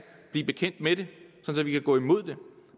blive bekendt med det så vi kan gå imod det